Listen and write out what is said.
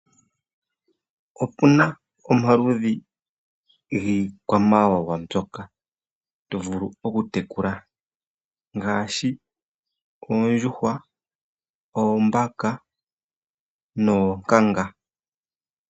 Opuna omaludhi giikwamawawa mbyoka to vulu okutekula ngaashi oondjuhwa, oombaka noonkanga.